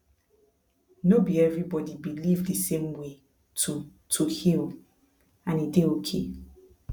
no be everybody believe the same way to to heal and e dey okay